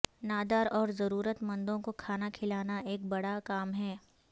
نادار اور ضرورت مندوں کو کھانا کھلانا ایک بڑا کام ہے